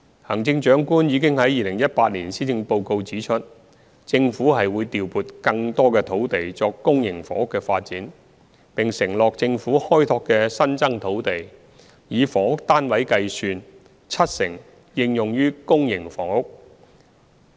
行政長官已於2018年施政報告指出，政府會調撥更多土地作公營房屋發展，並承諾政府開拓的新增土地，以房屋單位計算，七成應用於公營房屋。